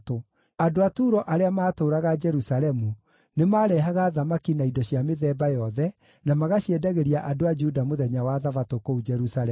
Andũ a Turo arĩa maatũũraga Jerusalemu nĩmarehaga thamaki na indo cia mĩthemba yothe, na magaciendagĩria andũ a Juda mũthenya wa Thabatũ kũu Jerusalemu.